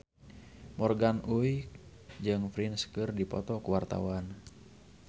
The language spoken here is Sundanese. Morgan Oey jeung Prince keur dipoto ku wartawan